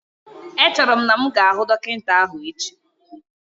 Echero m na'm ga ahu Dokinta ahu echi